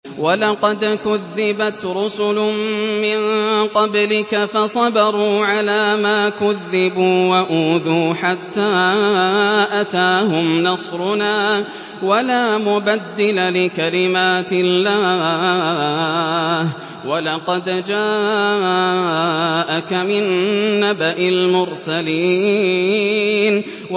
وَلَقَدْ كُذِّبَتْ رُسُلٌ مِّن قَبْلِكَ فَصَبَرُوا عَلَىٰ مَا كُذِّبُوا وَأُوذُوا حَتَّىٰ أَتَاهُمْ نَصْرُنَا ۚ وَلَا مُبَدِّلَ لِكَلِمَاتِ اللَّهِ ۚ وَلَقَدْ جَاءَكَ مِن نَّبَإِ الْمُرْسَلِينَ